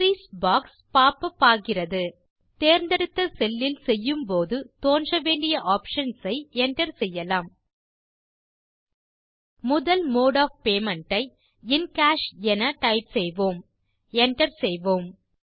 entries box pop up ஆகிறது தேர்ந்தெடுத்த செல்லில் செய்யும் போது தோன்ற வேண்டிய ஆப்ஷன்ஸ் ஐ என்டர் செய்யலாம் முதல் மோடு ஒஃப் பேமெண்ட் ஐ இன் காஷ் என டைப் செய்வோம் Enter செய்வோம்